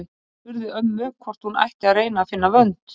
Anna spurði ömmu hvort hún ætti að reyna að finna vönd.